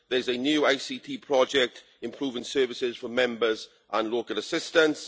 There's a new ICT project improving services for Members and local assistants.